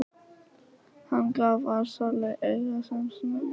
Hann gaf Ársæli auga sem snöggvast.